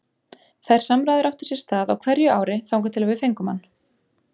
Þær samræður áttu sér stað á hverju ári þangað til að við fengum hann.